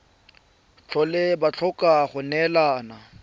tlhole ba tlhoka go neelana